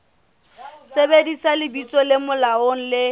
sebedisa lebitso le molaong le